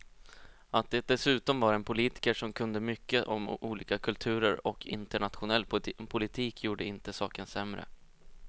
Att det dessutom var en politiker som kunde mycket om olika kulturer och internationell politik gjorde inte saken sämre.